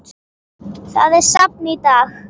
Það er safn í dag.